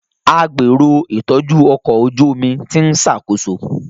A gbero itọju ọkọ oju omi ti n ṣakoso.